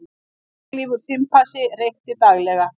Langlífur simpansi reykti daglega